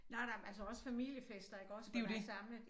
Nej nej men altså også familiefester iggås hvor I samlet